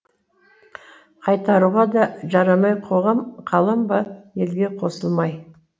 қайтаруға да жарамай қоғам қалам ба елге қосылмай